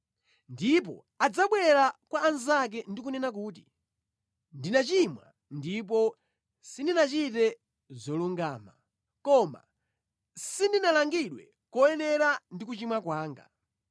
Ndipo adzabwera kwa anzake ndi kunena kuti, ‘Ndinachimwa ndipo sindinachite zolungama, koma sindinalangidwe koyenerana ndi kuchimwa kwanga.